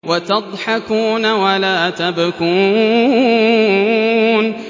وَتَضْحَكُونَ وَلَا تَبْكُونَ